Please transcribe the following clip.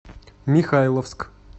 михайловск